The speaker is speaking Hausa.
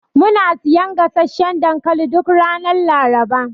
Muna siyan gasasshan dankali duk ranar Laraba.